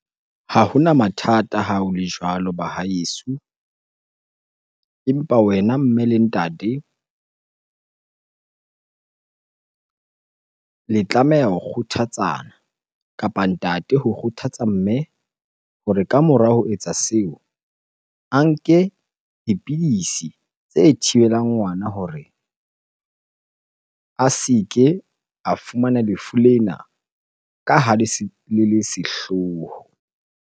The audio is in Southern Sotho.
Ha hona mathata, ha ho le jwalo ba haeso. Empa wena mme le ntate le tlameha ho kgothatsana kapa ntate ho kgothatsa mme hore ka mora ho etsa seo a nke dipidisi tse thibelang ngwana hore a se ke a fumana lefu lena ka ha le le sehloho.